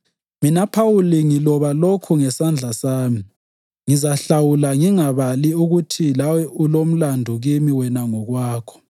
Mina Phawuli, ngiloba lokhu ngesandla sami. Ngizahlawula ngingabali ukuthi lawe ulomlandu kimi wena ngokwakho.